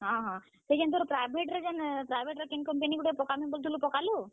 ହଁ ହଁ, ସେ ଯେନ୍ ତୋର୍ private ର ଯେନ୍ private ର କେନ୍ company ଗୁଟେରେ ପକାମି ବୋଲୁଥିଲୁ କାଣା ସେନ ପକାଲୁ?